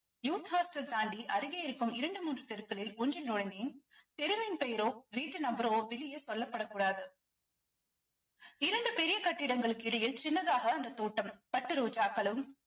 youth hostel தாண்டி அருகே இருக்கும் இரண்டு மூன்று தெருக்களில் ஒன்றில் நுழைந்தேன் தெருவின் பெயரோ வீட்டு number ரோ வெளியே சொல்லப்படக்கூடாது இரண்டு பெரிய கட்டிடங்களுக்கு இடையில் சின்னதாக அந்த தோட்டம் பட்டு ரோஜாக்களும்